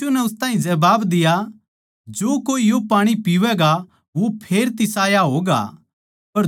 यीशु नै उस ताहीं जबाब दिया जो कोए यो पाणी पीवैगा वो फेर तिसाया होगा